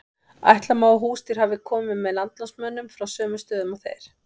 ætla má að húsdýr hafi komið með landnámsmönnum frá sömu stöðum og þeir